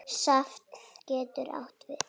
Safn getur átt við